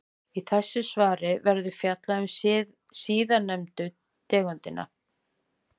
Í þessu svari verður fjallað um síðarnefndu tegundina.